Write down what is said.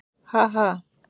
Ha- ha.